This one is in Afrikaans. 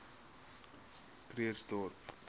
krugersdorp